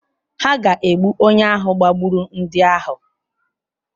Hà ga-egbu onye ahụ gbagburu ndị ahụ?